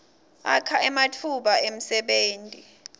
akha nematfuba emsebenti